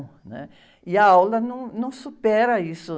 né? E a aula não, não supera isso.